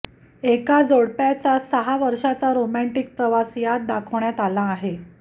एका जोडप्याचा सहा वर्षांचा रोमॅण्टिक प्रवास यात दाखवण्यात आला आहे